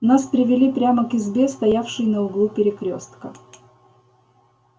нас привели прямо к избе стоявшей на углу перекрёстка